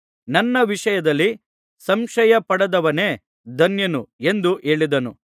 ನನ್ನ ವಿಷಯದಲ್ಲಿ ಸಂಶಯಪಡದವನೇ ಧನ್ಯನು ಎಂದು ಹೇಳಿದನು